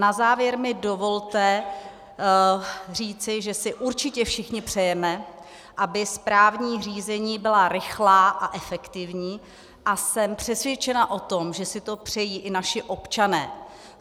Na závěr mi dovolte říci, že si určitě všichni přejeme, aby správní řízení byla rychlá a efektivní, a jsem přesvědčena o tom, že si to přejí i naši občané.